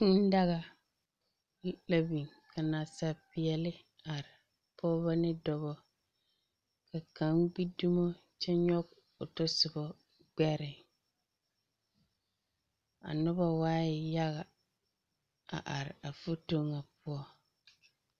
Kūū daga la biŋ ka nasaalpeɛle are; Pɔgebɔ ne dɔbɔ ka kaŋ gbi dumo kyɛ nyɔge o tɔsoba gbɛre. A noba waa yaga a are a foto ŋa poɔ.